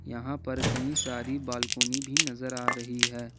यहां पर कहीं सारी बालकोनी भी नजर आ रही है।